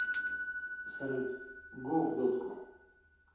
салют го в дотку